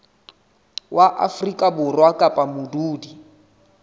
wa afrika borwa kapa modudi